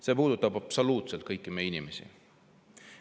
See puudutab absoluutselt kõiki meie inimesi.